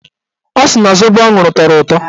Ọ sị na zobo ọ ṅụrụ tọrọ ụtọ.